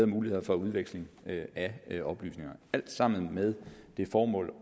muligheder for udveksling af oplysninger alt sammen med det formål